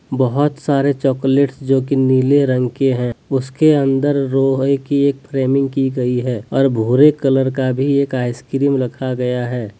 बहोत सारे चॉकलेट जो की नीले रंग के हैं उसके अंदर लोहे की एक फ्रेमिंग की गई है और भूरे कलर का भी एक आइसक्रीम रखा गया है।